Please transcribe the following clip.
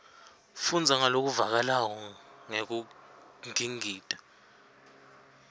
fundza ngalokuvakalako ngekungingita